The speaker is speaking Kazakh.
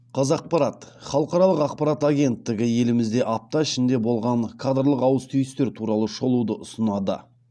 қазақпарат халықаралық ақпарат агенттігі елімізде апта ішінде болған кадрлық ауыс түйістер туралы шолуды ұсынады